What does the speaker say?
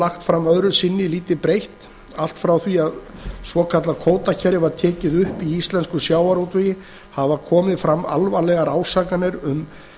lagt fram öðru sinni lítið breytt allt frá því að svokallað kvótakerfi var tekið upp í íslenskum sjávarútvegi hafa komið fram alvarlegar ásakanir um